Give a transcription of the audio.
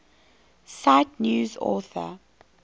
cite news author